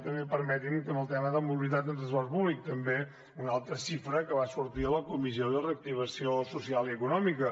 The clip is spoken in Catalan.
també permeti’m que amb el tema de la mobilitat amb transport públic també una altra xifra que va sortir a la comissió de reactivació social i econòmica